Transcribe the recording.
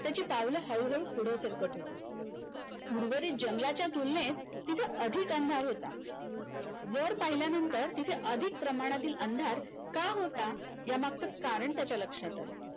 त्याची पावलं हळूहळू पुढे सरकत होती उर्वरित जंगलाच्या तुलनेत तिथे अधिक अंधार होता वर पाहिल्यानंतर तिथे अधिक प्रमाणातील अंधार का होता यामागचं कारण त्याच्या लक्षात आलं